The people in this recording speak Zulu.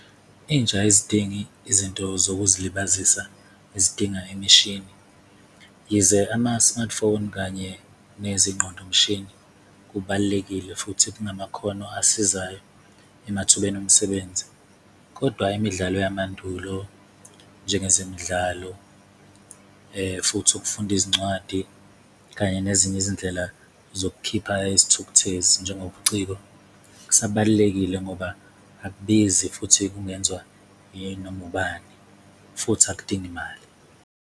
Intsha ayizidingi izinto zokuzilibazisa ezidinga imishini, yize ama-smartphone kanye nezingqondo-mshini kubalulekile futhi kungamakhono asizayo emathubeni omsebenzi. Kodwa imidlalo yamandulo, njengezemidlalo futhi ukufunda izincwadi kanye nezinye izindlela zokukhipha isithukuthezi, njengobuciko kusabalulekile ngoba akubizi futhi kungenziwa yinoma ubani, futhi akudingi mali.